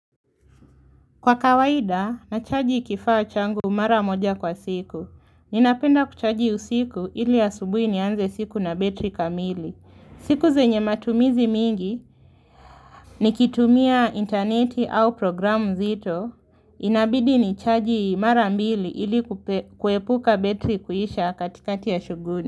Kwa kawaida, nachaji kifaa changu mara moja kwa siku. Ninapenda kuchaji usiku ili asubui nianze siku na betri kamili. Siku zenye matumizi mingi, nikitumia interneti au programu zito, inabidi ni chaji mara mbili ili kuepuka betri kuhisha katikati ya shughuli.